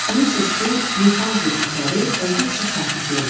Bilirsiniz ki, Newfoundlənd itləri olduqca sakit görünür.